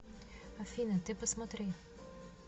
афина ты посмотри